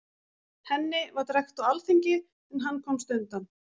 Henni var drekkt á alþingi, en hann komst undan.